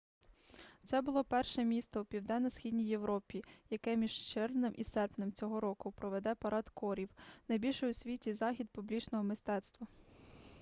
це буде перше місто у південно-східній європі яке між червнем і серпнем цього року проведе парад корів найбільший у світі захід публічного мистецтва